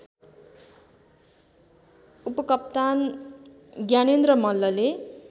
उपकप्तान ज्ञानेन्द्र मल्लले